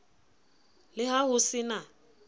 le ha ho se na